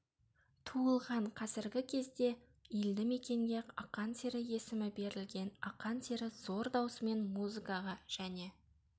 туылған қазіргі кезде елді мекенге ақан сері есімі берілген ақан сері зор даусымен музыкаға және